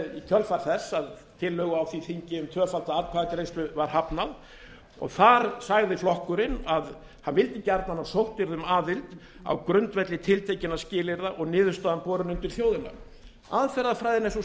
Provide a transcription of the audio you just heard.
í kjölfar þess að tillögu á því þingi um tvöfalda atkvæðagreiðslu var hafnað og þar sagði flokkurinn að hann vildi gjarnan að sótt yrði um aðild á grundvelli tiltekinna skilyrða og niðurstaðan borin undir þjóðina aðferðafræðin er sú